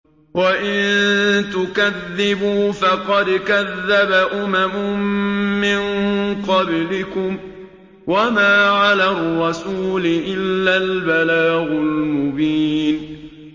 وَإِن تُكَذِّبُوا فَقَدْ كَذَّبَ أُمَمٌ مِّن قَبْلِكُمْ ۖ وَمَا عَلَى الرَّسُولِ إِلَّا الْبَلَاغُ الْمُبِينُ